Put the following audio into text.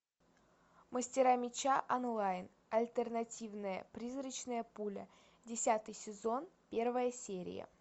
мастера меча онлайн альтернативная призрачная пуля десятый сезон первая серия